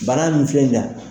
Bana min filɛ nin na.